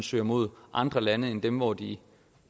søger mod andre lande end dem hvor de